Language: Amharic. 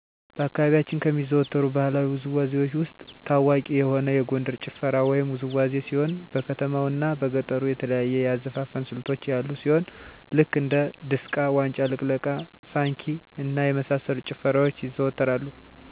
በአካባቢያችን ከሚዘወተሩ ባህለዊ ውዝዋዜዎች ውስጥ ታዋቂ የሆነ የጎንደር ጭፈራ ወይም ውዝዋዜ ሲሆን በከተማው እና በገጠሩ የተለያዩ የአዘፋፈን ስልቶች ያሉ ሲሆን ልክ እንደ ድሰቃ; ዋጫ ልቅለቃ; ሳንኪ እና የመሳሰሉት ጭፈራዎች ይዘዎተራሉ በተለይ እነዚህ ጭፈራዎች በጥምቀት ቀን; እና በሰርግ ቀን ይታያሉ። በከተማው አካባቢ ስፒከር (ሞንታርቦ) በመጠቀም ወጣቱ የሚጨፍር ሲሆን ወደገጠሩ ደግሞ ድምፅን በመጠቀም አንዱ ሲያቀነቅን ሌሎች በመቀበል የጭፈራ አይነት ሲሆን እናቶ እና አባቶች ኩታቸውን በማደግደግ የሚጨፍሩት የጭፈራ አይነት ነው።